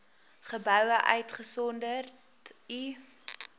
geboue uitgesonderd u